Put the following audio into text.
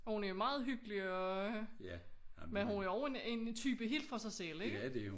Og hun er meget hyggelig og men hun er også en type helt for sig selv ikke